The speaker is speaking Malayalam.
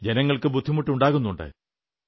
ജനങ്ങൾക്ക് ബുദ്ധിമുട്ടുകളുണ്ടാകുന്നുണ്ട്